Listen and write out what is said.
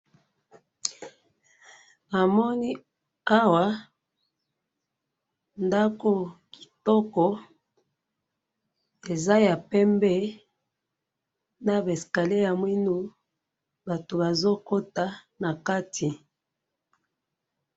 Na moni awa, ndako kitoko, eza ya pembe, na ba escaliers ya mwindo, na moni batu mingi bazo kota na ndako.